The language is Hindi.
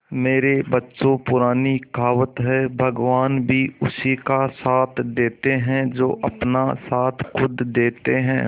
मेरे बच्चों पुरानी कहावत है भगवान भी उसी का साथ देते है जो अपना साथ खुद देते है